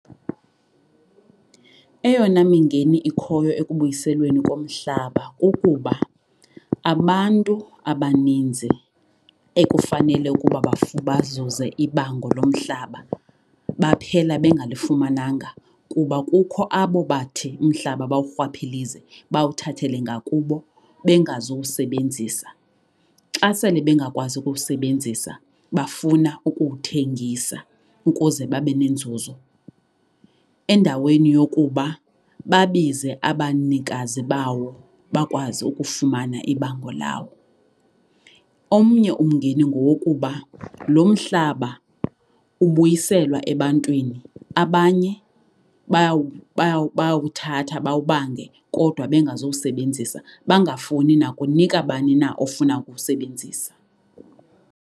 Eyona mingeni ikhoyo ekubuyiselweni komhlaba kukuba abantu abaninzi ekufanele ukuba bazuze ibango lomhlaba baphela bengalifumananga kuba kukho abo bathi umhlaba bawurhwaphilize, bawuthathele ngakubo bengazowusebenzisa. Xa sele bengakwazi ukuwusebenzisa bafuna ukuwuthengisa ukuze babe nenzuzo endaweni yokuba babize abanikazi bawo bakwazi ukufumana ibango lawo. Omnye umngeni ngowokuba lo mhlaba ubuyiselwa ebantwini abanye bayawuthatha bawubange kodwa bengazowusebenzisa, bangafuni nakunika bani na ofuna ukuwusebenzisa.